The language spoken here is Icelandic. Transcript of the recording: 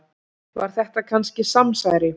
Var þetta kannski samsæri?